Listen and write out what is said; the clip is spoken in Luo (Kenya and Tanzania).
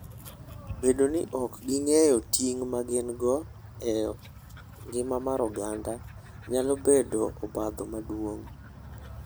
Bedo ni ok ging'eyo ting' ma gin-go e ngima mar oganda, nyalo bedo obadho maduong'.